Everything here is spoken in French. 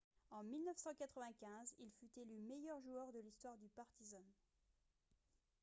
en 1995 il fut élu meilleur joueur de l'histoire du partizan